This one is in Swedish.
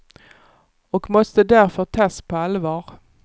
Och måste därför tas på allvar.